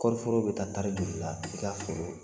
Kɔɔri foro bɛ taa tari joli la i ka foro